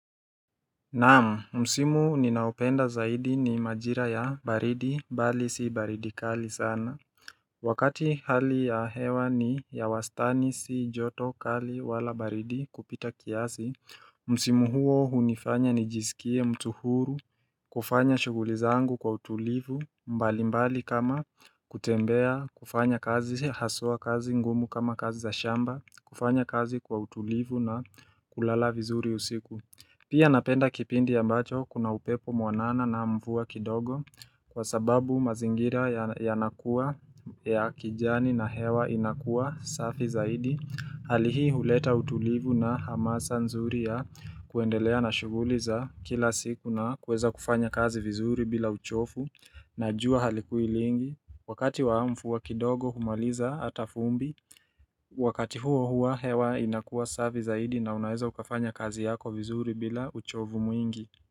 Naam, msimu ninaopenda zaidi ni majira ya baridi, bali si baridi kali sana. Wakati hali ya hewa ni ya wastani si joto kali wala baridi kupita kiasi, msimu huo hunifanya nijisikie mtu huru, kufanya shuguli zangu kwa utulivu, mbali mbali kama kutembea, kufanya kazi haswa kazi ngumu kama kazi za shamba, kufanya kazi kwa utulivu na kulala vizuri usiku. Pia napenda kipindi ambacho kuna upepo mwanana na mvua kidogo kwa sababu mazingira yanakua ya kijani na hewa inakua safi zaidi. Hali hii huleta utulivu na hamasa nzuri ya kuendelea na shuguli za kila siku nakuweza kufanya kazi vizuri bila uchovu na jua halikui lingi. Wakati wa mvua kidogo humaliza ata vumbi, wakati huo huwa hewa inakuwa safi zaidi na unaeza ukafanya kazi yako vizuri bila uchovu mwingi.